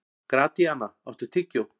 Gratíana, áttu tyggjó?